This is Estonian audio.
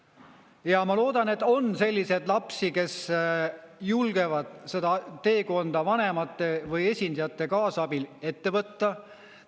Ja ma loodan, et on selliseid lapsi, kes julgevad seda teekonda vanemate või esindajate kaasabil ette võtta.